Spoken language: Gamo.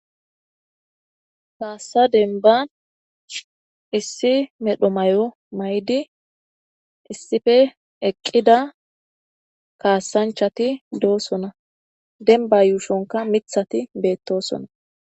Kaassa denban issi medho may7o may7di issife eqqida kaasanchati doosona denba yuushonka mithati beettosona